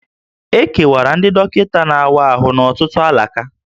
E kewara ndị dọkịta na-awa ahụ n'ọtụtụ alaka